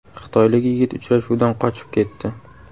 Xitoylik yigit uchrashuvdan qochib ketdi.